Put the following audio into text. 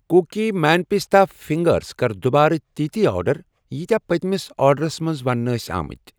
Cookie man pista fingers کر دُبارٕ تِتی آرڈر ییٖتیٚاہ پٔتمِس آرڈَس مَنٛز وننہٕ ٲسۍ آمتۍ۔